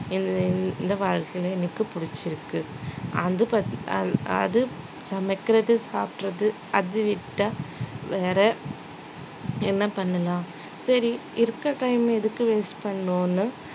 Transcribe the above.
இன்~ இன்~ இந்த வாழ்க்கையில எனக்கு புடிச்சிருக்கு அது அது சமைக்கிறது சாப்பிடுறது அது விட்டா வேற என்ன பண்ணலாம் சரி இருக்க time எதுக்கு waste பண்ணணும்னு